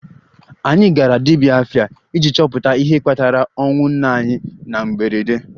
Anyị gara 'dibia afa' iji chọpụta ihe kpatara ọnwụ nna anyị na mberede